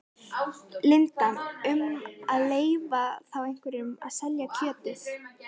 Linda: Um að leyfa þá einhverjum að selja kjötið?